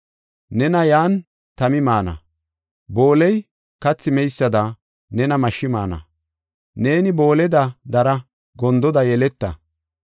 Nena yan tami maana; booley kathi meysada nena mashshi maana. Neeni booleda dara gondoda yeleta.